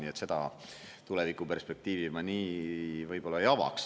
Nii et seda tulevikuperspektiivi ma nii ei avaks.